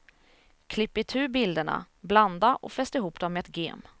Klipp itu bilderna, blanda och fäst ihop dem med ett gem.